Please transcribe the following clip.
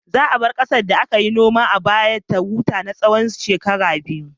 Za a bar ƙasar da aka yi noma a baya ta huta na tsawon shekaru biyu.